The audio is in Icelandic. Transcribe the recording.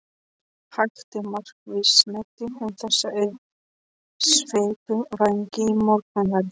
Hægt og markvisst snæddi hún þessa auðsveipu vængi í morgunverð.